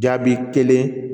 Jaabi kelen